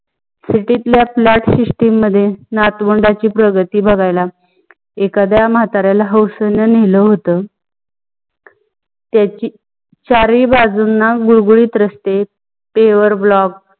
city तल्या flat system मध्ये नाठाऊनडची प्रगती बघायला एकाद्या मताऱ्याला हौसणी नेल होत. त्याची चार ही बाजूनी गुडगुडीत रस्ते, pave block